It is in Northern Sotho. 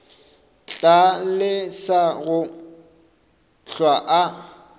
tla lesa go hlwa a